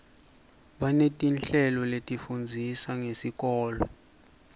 banetinhlelo letifundzisa ngesikolo